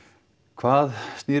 hvað